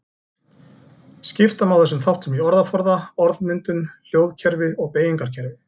Skipta má þessum þáttum í orðaforða, orðmyndun, hljóðkerfi og beygingarkerfi.